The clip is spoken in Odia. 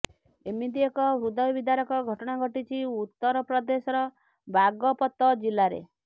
ଏମିତି ଏକ ହୃଦୟବିଦାରକ ଘଟଣା ଘଟିଛି ଉତ୍ତର ପ୍ରଦେଶର ବାଗପତ ଜିଲ୍ଲାରେ